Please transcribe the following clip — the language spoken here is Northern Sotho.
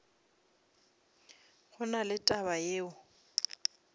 go na le taba yeo